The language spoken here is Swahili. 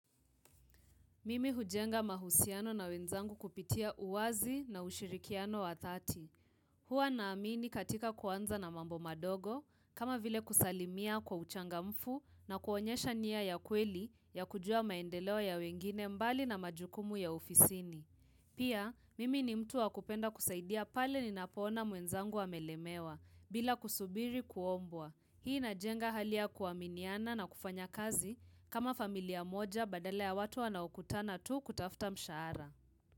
Mimi hujenga mahusiano na wenzangu kupitia uwazi na ushirikiano wa dhati. Hua naamini katika kuanza na mambo madogo, kama vile kusalimia kwa uchanga mfu na kuonyesha nia ya kweli ya kujua maendeleo ya wengine mbali na majukumu ya ofisini. Pia, mimi ni mtu wa kupenda kusaidia pale ni napoona mwenzangu amelemewa bila kusubiri kuombwa. Hii ina jenga halia ya kuaminia kufanya kazi kama familia moja badala ya watu wanao kutana tu kutafuta tu mshara.